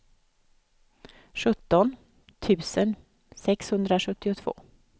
sjutton tusen sexhundrasjuttiotvå